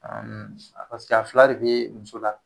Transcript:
Ɔn paseke a fila de be muso la.